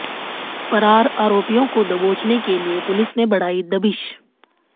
फरार आरोपियाें को दबोचने के लिए पुलिस ने बढ़ाई दबिश